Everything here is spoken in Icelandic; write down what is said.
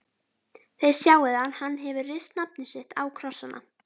Þið sjáið að hann hefur rist nafnið sitt á krossana.